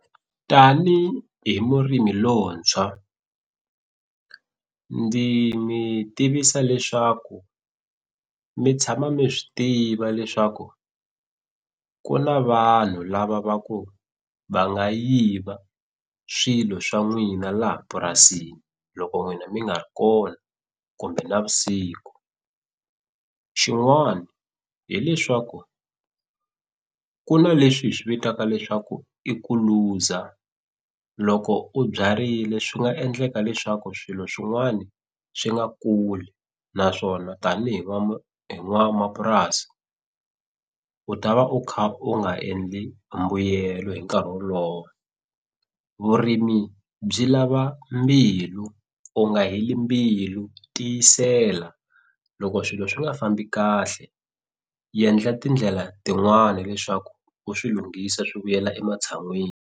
Tanihi murimi lowuntshwa ndzi mi tivisa leswaku mi tshama mi swi tiva leswaku ku na vanhu lava va ku va nga yiva swilo swa n'wina laha purasini loko n'wina mi nga ri kona kumbe navusiku xin'wani hileswaku ku na leswi hi swi vitaka leswaku i ku luza loko u byarile swi nga endleka leswaku swilo swin'wani swi nga kuli naswona tanihi va hi n'wamapurasi u ta va u kha u nga endli mbuyelo hi nkarhi wolowo vurimi byi lava mbilu u nga heli mbilu tiyisela loko swilo swi nga fambi kahle endla tindlela tin'wani leswaku u swi lunghisa swi vuyela ematshan'wini.